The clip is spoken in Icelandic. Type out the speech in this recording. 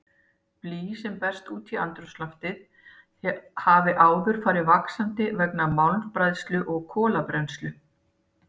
Blý sem berst út í andrúmsloftið hafði áður farið vaxandi vegna málmbræðslu og kolabrennslu.